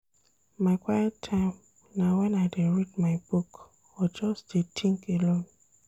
My quiet time na wen I dey read my book or just dey tink alone.